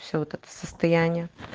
все вот это состояние